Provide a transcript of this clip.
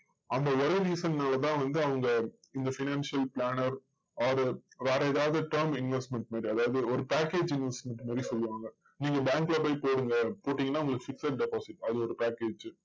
அந்த ஒரே reason னாலதா வந்து அவங்க இந்த financial planner or வேற எதாவது term investment மாதிரி அதாவது ஒரு package investment மாதிரி சொல்லுவாங்க. நீங்க bank ல போய் கேளுங்க. கேட்டிங்கன்னா உங்களுக்கு fixed deposit அது ஒரு package